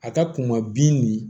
A ka kun ma bin nin